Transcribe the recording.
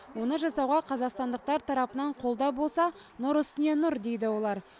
оны жасауға қазақстандықтар тарапынан қолдау болса нұр үстіне нұр дейді олар